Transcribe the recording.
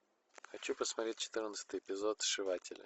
хочу посмотреть четырнадцатый эпизод сшивателя